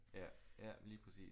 Ja ja lige præcis